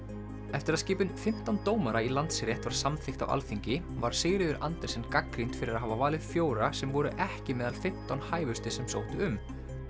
eftir að skipun fimmtán dómara í Landsrétt var samþykkt á Alþingi var Sigríður Andersen gagnrýnd fyrir að hafa valið fjóra sem voru ekki meðal fimmtán hæfustu sem sóttu um